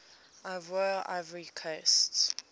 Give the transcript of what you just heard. ivoire ivory coast